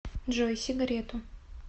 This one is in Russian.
джой сигарету